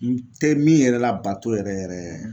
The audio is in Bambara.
N tɛ min yɛrɛ labato yɛrɛ yɛrɛɛ